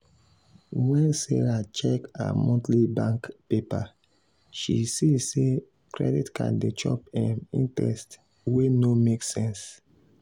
when sarah check her monthly bank paper she see say credit card dey chop um interest wey no make sense.